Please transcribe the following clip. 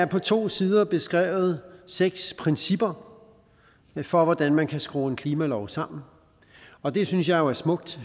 på to sider beskrevet seks principper for hvordan man kan skrue en klimalov sammen og det synes jeg jo er smukt